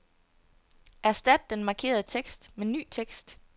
Erstat den markerede tekst med ny tekst.